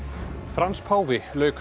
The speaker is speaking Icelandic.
Frans páfi lauk